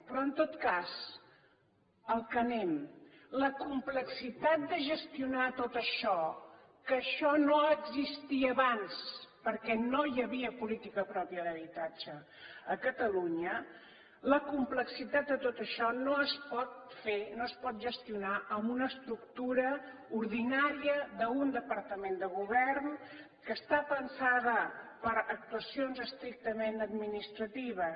però en tot cas al que anem la complexitat de gestionar tot això que això no existia abans perquè no hi havia política pròpia d’habitatge a catalunya la complexitat de tot això no es pot fer no es pot gestionar amb una estructura ordinària d’un departament de govern que està pensada per actuacions estrictament administratives